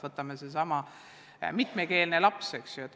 Võtame sellesama mitmekeelse lapse.